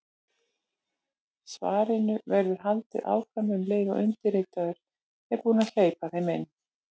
Svarinu verður haldið áfram um leið og undirritaður er búinn að hleypa þeim inn.